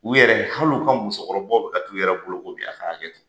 U yɛrɛ hali u ka musokɔrɔbaw bɛ ka taa ka t'u yɛrɛ boloko bi a ka hakɛto.